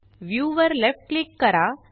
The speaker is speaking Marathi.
व्ह्यू वर लेफ्ट क्लिक करा